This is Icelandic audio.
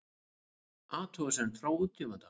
Athugasemd frá útgefanda